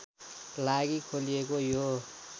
लागि खोलिएको यो